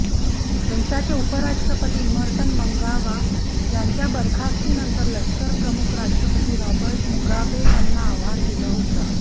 देशाचे उपराष्ट्रपती Emmerson Mnangagwa यांच्या बरखास्तीनंतर लष्करप्रमुख राष्ट्रपती रॉबर्ट मुगाबे यांना आव्हान दिलं होतं